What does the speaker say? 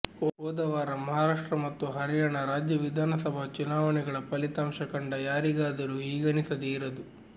ಹೋದವಾರ ಮಹಾರಾಷ್ಟ್ರ ಮತ್ತು ಹರ್ಯಾಣ ರಾಜ್ಯ ವಿಧಾನಸಭಾ ಚುನಾವಣೆಗಳ ಫಲಿತಾಂಶ ಕಂಡ ಯಾರಿಗಾದರೂ ಹೀಗನಿಸದೆ ಇರದು